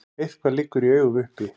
Eitthvað liggur í augum uppi